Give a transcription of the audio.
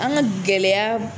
An ka gɛlɛya